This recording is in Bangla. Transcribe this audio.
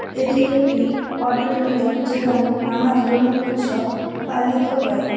এটি একটি অডিটোরিয়াম যেখানে নানা ধরনের উৎসব পালিত হয়।